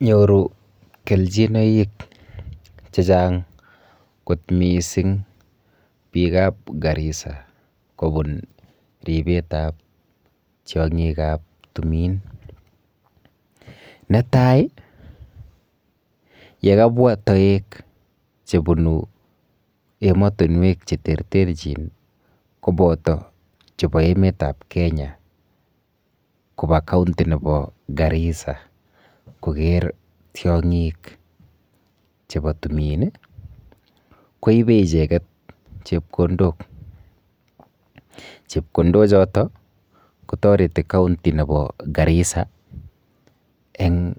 Nyoru kelchinoik chechang kot miising biikap Garissa kobun ripetap tiong'ikap tumin. Netai yekabwa toek chebunu emotinwek cheterterchin kopoto chepo emetap Kenya kopo county nepo Garissa koker tiong'ik chepon tumin, koipe icheket chepkondok. Chepkondochoto kotoreti county nepo Garissa eng